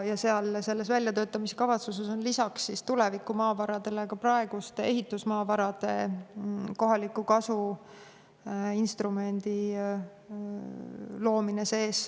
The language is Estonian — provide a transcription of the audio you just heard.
Selles väljatöötamiskavatsuses on lisaks tuleviku maavaradele sees praeguste ehitusmaavarade kohaliku kasu instrumendi loomine.